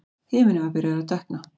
Himinninn var byrjaður að dökkna.